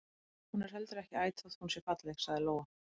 Hún er heldur ekki æt þótt hún sé falleg, sagði Lóa.